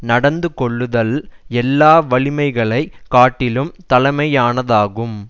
நடந்து கொள்ளுதல் எல்லா வலிமைகளை காட்டிலும் தலைமையானதாகும்